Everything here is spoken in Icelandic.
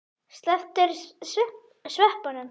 Slepptirðu sveppunum?